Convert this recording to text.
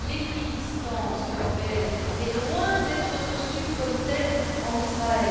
L'équidistance européenne est loin d'être reçue comme telle en Israël.